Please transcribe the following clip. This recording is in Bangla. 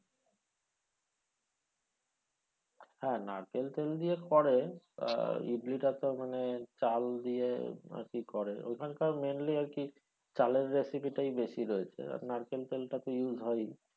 হ্যাঁ নারকেল তেল দিয়ে করে আহ ইডলিটা তো মানে চাল দিয়ে ইডলি করে ওখানকার mainly আরকি চালের recipes টাই বেশি রয়েছে তা আপনার নারকেল তেলটা তো use হয়ই।